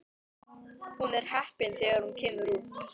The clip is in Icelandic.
Hún er heppin þegar hún kemur út.